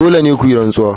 Dole ne ku yi rantsuwa.